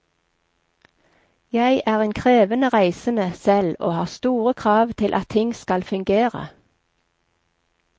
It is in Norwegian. Jeg er en krevende reisende selv og har store krav til at ting skal fungere.